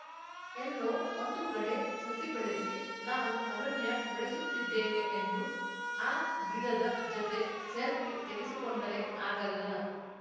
ಎಲ್ಲೋ ಒಂದು ಕಡೆ ಸಸಿ ಬೆಳೆಸಿ ನಾವು ಅರಣ್ಯ ಬೆಳೆಸುತ್ತಿದ್ದೇವೆ ಎಂದು ಆ ಗಿಡದ ಜತೆ ಸೆಲ್ಫಿ ತೆಗೆಸಿಕೊಂಡರೆ ಆಗಲ್ಲ